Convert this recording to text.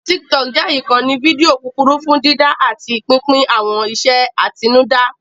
Tiktok jẹ́ ìkànnì fídíò kúkúrú fún dídá àti pínpín àwọn iṣẹ́ àtinúdá